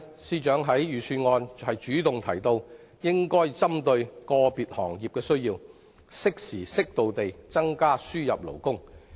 司長在財政預算案主動提到，應針對個別行業的需要，適時適度地增加輸入勞工，對此我表示歡迎。